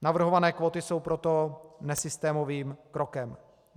Navrhované kvóty jsou proto nesystémovým krokem.